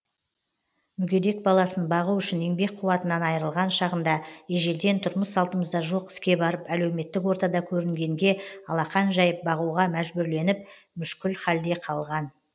мүгедек баласын бағу үшін еңбек қуатынан айрылған шағында ежелден тұрмыс салтымызда жоқ іске барып әлеуметтік ортада көрінгенге алақан жәйіп бағуға мәжбүрленіп мүшкіл халде қалған